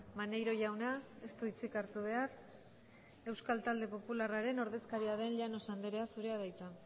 maneiro jauna ez du hitzik hartu behar euskal talde popularraren ordezkaria den llanos andrea zurea da hitza